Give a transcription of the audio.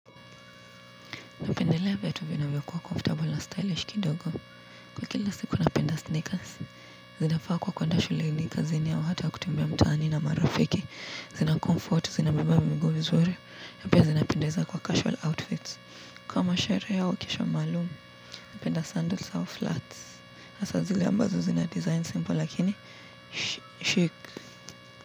Ndelea viatu vinavyokuwa comfortable na stylish kidogo. Kwa kila siku napenda sneakers. Zinafaa kwa kwenda shuleini kazini au hata kutumia mtaani na marafiki. Zina comfort, zinavo beba miguu vizuri. Na pia zinapendeza kwa casual outfits. Kwa masherehe au kesha maalumu, napenda sandols au flats. Hasa zile ambazo zina design simple lakini, shik.